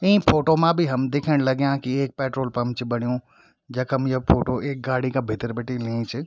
ई photo मा भी हम दिख्यण लग्याँ की एक पेट्रोल पंप च बण्यु जखम ये फोटो एक गाडी का भितर बटि लीं च।